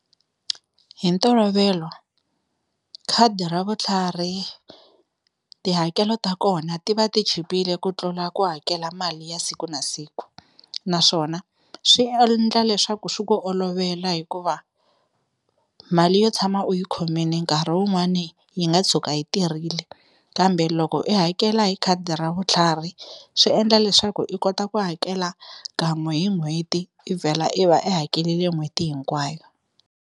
Hi ntolovelo khadi ra vutlhari tihakelo ta kona ti va ti chipile ku tlula ku hakela mali ya siku na siku, naswona swi endla leswaku swi ku olovela hikuva mali yo tshama u yi khomini nkarhi wun'wani yi nga tshuka yi tirhile kambe loko i hakela hi khadi ra vutlhari swi endla leswaku i kota ku hakela kan'we hi n'hweti i vhela i va i hakelele n'hweti hinkwayo.